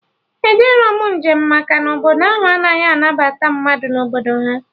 Ejerọ m njem maka na Obodo ahụ anaghị anabata mmadụ na Obodo ha